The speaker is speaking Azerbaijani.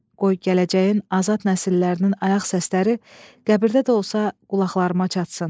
Qoy gələcəyin azad nəsillərinin ayaq səsləri qəbirdə də olsa qulaqlarıma çatsın.